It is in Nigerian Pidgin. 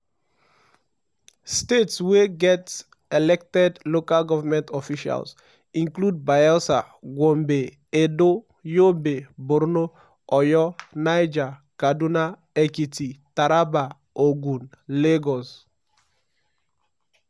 states wey get elected lg officials include bayelsa gombe edo yobe borno oyo niger kaduna ekiti taraba ogun lagos.